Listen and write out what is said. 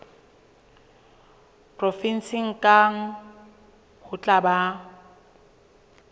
provenseng kang ho tla ba